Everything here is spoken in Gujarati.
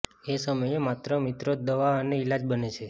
એ સમયે માત્ર મિત્રો જ દવા અને ઈલાજ બને છે